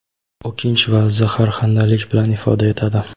o‘kinch va zaharxandalik bilan ifoda etadi.